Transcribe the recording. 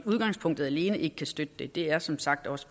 udgangspunktet alene ikke kan støtte det det er som sagt også